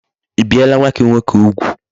I biela nwa gi nwoke ugwu?